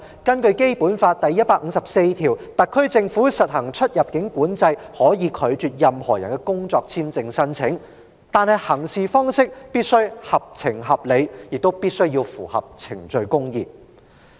根據《基本法》第一百五十四條，特區政府實行出入境管制，可以拒絕任何人的工作簽證申請，但行事方式必須合情合理，亦必須符合程序公義。